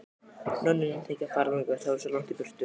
Nonni nennti ekki að fara þangað, það var svo langt í burtu.